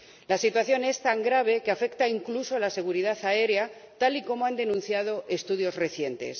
La situación es tan grave que afecta incluso a la seguridad aérea, tal y como han denunciado estudios recientes.